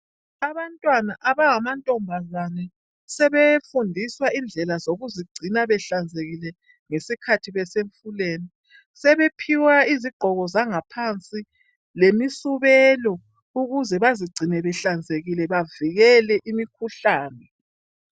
Abantwana abangamantombazane sebefundiswa indlela zokuzigcina behlanzekile ngesikhathi besethubeni . Sebephiwa izigqoko zangaphansi lemisubelo ukuze bazigcine behlenzekile bavikele imikhuhlane.